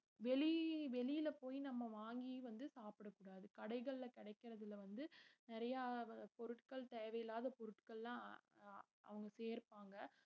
வெளி~ வெளியில போய் நம்ம வாங்கி வந்து சாப்பிடக் கூடாது கடைகள்ல கிடைக்கறதுல வந்து நிறைய பொருட்கள் தேவையில்லாத பொருட்கள்லாம் ஆஹ் அஹ் அவங்க சேர்ப்பாங்க